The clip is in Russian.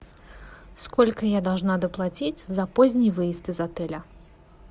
сколько я должна доплатить за поздний выезд из отеля